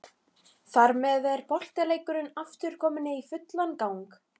Þar með er boltaleikurinn aftur kominn í fullan gang.